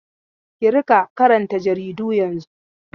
Ki riƙa karanta jaridu yanzun!